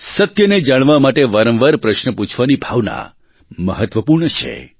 સત્યને જાણવા માટે વારંવાર પ્રશ્ન પૂછવાની ભાવના મહત્વપૂર્ણ છે